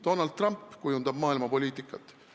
Donald Trump kujundab maailma poliitikat.